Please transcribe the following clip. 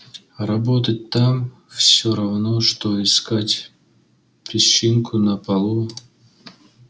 работать там всё равно что искать песчинку на полу